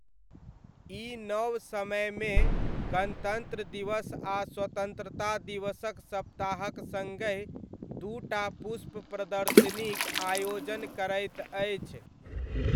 ई नव समयमे गणतन्त्र दिवस आ स्वतन्त्रता दिवसक सप्ताहक सङ्गहि दू टा पुष्प प्रदर्शनीक आयोजन करैत अछि।